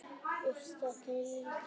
Uppstokkun í ríkisstjórn